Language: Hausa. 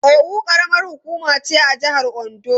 Owo karamar hukuma ce a jihar Ondo.